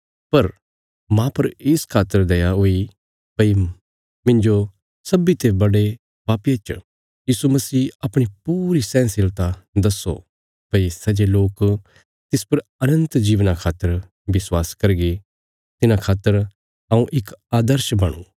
पर माह पर इस खातर दया हुई भई मुझ सब ते बड़े पापिये च यीशु मसीह अपणी पूरी सहनशीलता दस्सो भई सै जे लोक तिस पर अनन्त जीवना खातर विश्वास करगे तिन्हां खातर हऊँ इक आर्दश बणुँ